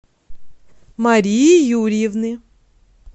марии юрьевны